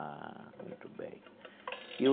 Ah, muito bem.